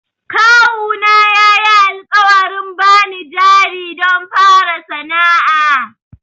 Kawuna yayi alƙawarin bani jari don na fara sana'a.